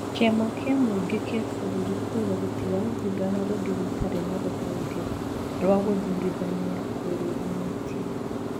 Kĩama kĩa mũingĩ kĩa bũrũri kuuga gĩtigathurana rĩngĩ gũtarĩ na rũhonge rwa gũthurithania rwĩrũgamĩtie